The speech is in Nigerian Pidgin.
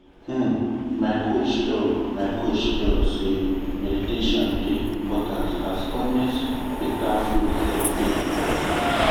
um my coach talk my coach talk say meditation dey…. important as honest better food sef dey important.